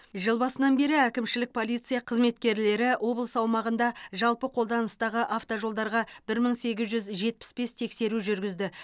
жыл басынан бері әкімшілік полиция қызметкерлері облыс аумағында жалпы қолданыстағы автожолдарға бір мың сегіз жүз жетпіс бес тексеру жүргізді